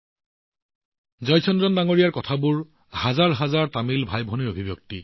জয়চন্দ্ৰনৰ কথাবোৰ হাজাৰ হাজাৰ তামিল ভাইভনীৰ অভিব্যক্তি